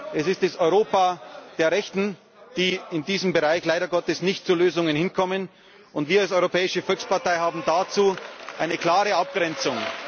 Es ist das Europa der Rechten, die in diesem Bereich leider Gottes nicht zu Lösungen kommen, und wir als Europäische Volkspartei haben dazu eine klare Abgrenzung.